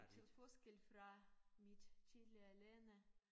Til forskel fra mit tidligere lande